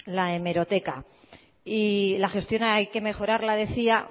la hemeroteca y la gestión hay que mejorarla decía